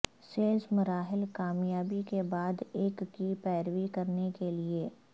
sales مراحل کامیابی کے بعد ایک کی پیروی کرنے کے لئے